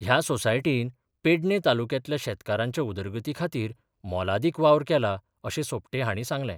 ह्या सोसायटीन पेडणे तालुक्यातल्या शेतकारांच्या उदरगतीखातीर मोलादिक वावर केला अशे सोपटे हाणी सांगले.